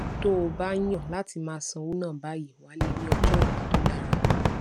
tó o bá yàn láti máa ṣówó ná báyìí wàá lè ní ọjó òla tó dára